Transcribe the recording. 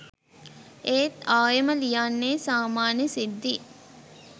ඒත් ආයෙම ලියන්නෙ සාමාන්‍ය සිද්ධි.